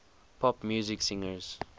pop music singers